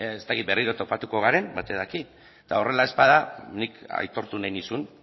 ez dakit berriro topatuko garen batek daki eta horrela ez bada nik aitortu nahi nizun